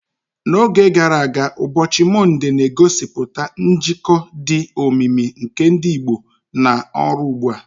N'oge gara aga, ụbọchị Mọnde na-egosipụta njikọ dị omimi nke ndị Igbo na ọrụ ugbo.